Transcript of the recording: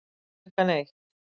Klukkan eitt